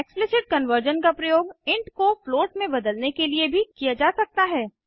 explicit conversion का प्रयोग int को फ्लोट में बदलने के लिए भी किया जा सकता है